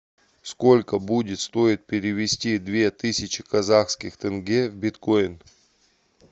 сколько будет стоить перевести две тысячи казахских тенге в биткоин